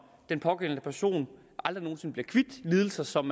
den pågældende person aldrig nogen sinde bliver kvit lidelser som